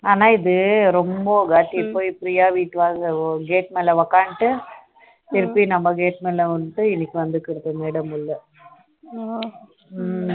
ஆனா இது ரொம்ப இது priya வீட்டுல போய் gate மேலே உக்காந்துட்டு திருப்பி நம்ம gate மேலே வந்து இன்னிக்கி வந்திருக்கிறது madam உள்ள